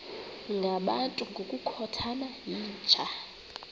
ngabantu ngokukhothana yinja